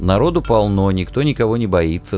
народу полно никто никого не боится